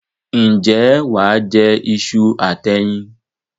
Ǹjẹ́ wà á jẹ iṣu àti ẹyin?